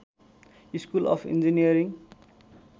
school of engineering